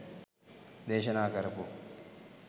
දේශනා කරපු